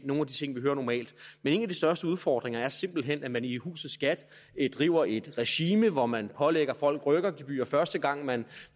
nogle af de ting vi normalt hører en af de største udfordringer er simpelt hen at man i huset skat driver et regime hvor man pålægger folk rykkergebyrer første gang man